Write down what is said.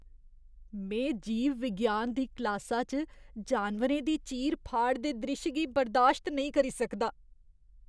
में जीव विज्ञान दी क्लासा च जानवरें दी चीर फाड़ दे द्रिश्श गी बर्दाश्त नेईं करी सकदा।